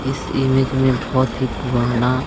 इस इमेज में बहोत ही पुराना--